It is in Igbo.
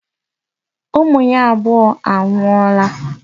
Ụmụ ya abụọ anwụọla.